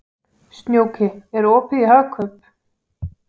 Snjóki, er opið í Hagkaup?